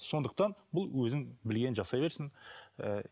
сондықтан бұл өзінің білгенін жасай берсін ііі